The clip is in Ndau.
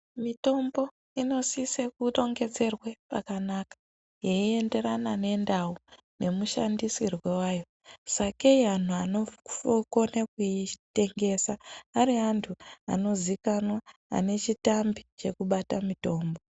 Mitombo inosise kurongedzerwe pakanaka yeienderana nendau nemushandisirwo wayo sakei antu anokona kuitengesa ari antu anozikanwa ane chitambi chekubata mitombo.